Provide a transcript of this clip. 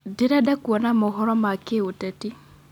ndĩrenda kuona mohoro ma kĩũteti